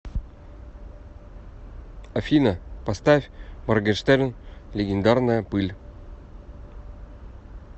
афина поставь моргенштерн легендарная пыль